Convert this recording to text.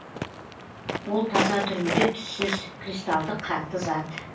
ол таза түрінде түссіз кристалдық қатты зат